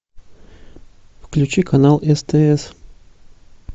включи канал стс